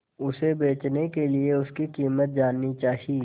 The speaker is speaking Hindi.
उसे बचने के लिए उसकी कीमत जाननी चाही